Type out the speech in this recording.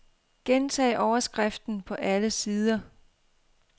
Gentag overskriften på alle sider.